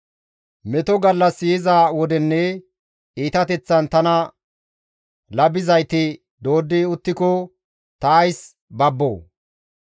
Meto gallassi yiza wodenne iitateththan tana labizayti dooddi uttiko ta ays babboo?